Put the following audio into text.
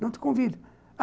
Não te convidam.